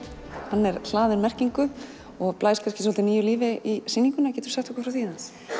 er hlaðinn merkingu og blæs kannski svolítið nýju lífi í sýninguna geturðu sagt okkur frá því